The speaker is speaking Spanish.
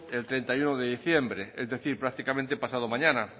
el treinta y uno de diciembre es decir prácticamente pasado mañana